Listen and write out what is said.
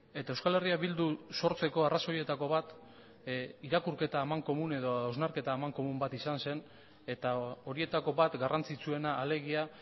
eta euskal herria bildu sortzeko arrazoietako bat irakurketa amankomun edo hausnarketa amankomun bat izan zen eta horietako bat garrantzitsuena alegia